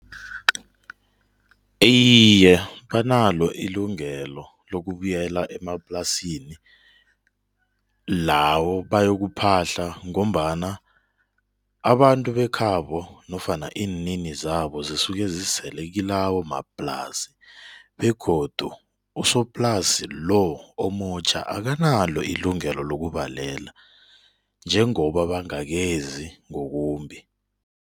Iye, banalo ilungelo lokubuyela emaplasini lawo bayokuphahla ngombana abantu bekhabo nofana iininizabo zisuke zisele kilawomaplasi begodu usoplasi lo omutjha akanalo ilungelo lokubalela njengoba bangakezi ngobumbi.